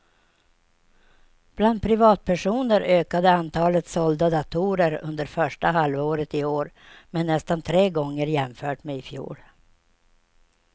Bland privatpersoner ökade antalet sålda datorer under första halvåret i år med nästan tre gånger jämfört med i fjol.